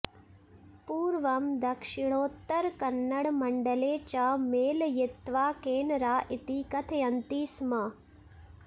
पूर्वं दक्षिणोत्तरकन्नडमण्डले च मेलयित्वा केनरा इति कथयन्ति स्म